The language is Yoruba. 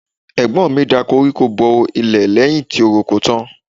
Ẹ̀gbọ́n mi da koríko bo ilẹ̀ lẹ́yìn tó roko tán.